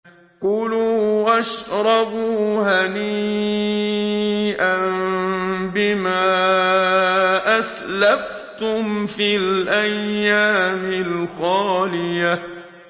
كُلُوا وَاشْرَبُوا هَنِيئًا بِمَا أَسْلَفْتُمْ فِي الْأَيَّامِ الْخَالِيَةِ